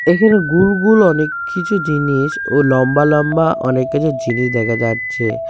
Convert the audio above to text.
এখানে গুলগুল অনেক কিছু জিনিস ও লম্বা লম্বা অনেক কিছু জিনিস দেখা যাচ্ছে।